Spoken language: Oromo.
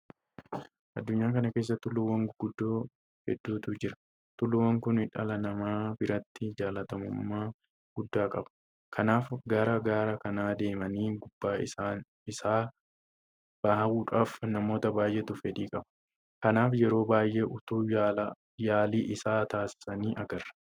Addunyaa kana keessa Tulluuwwan guguddoo hedduutu jira. Tulluuwwan kun dhala namaa biratti jaalatamummaa guddaa qaba. Kanaaf gara gaara kanaa deemanii gubbaa isaa bahuudhaaf namoota baay'eetu fedhii qaba. Kanaaf yeroo baay'ee utuu yaalii isaa taasisanii agarra.